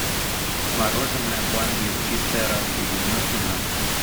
мороженое пломбир чистая радуга девяносто грамм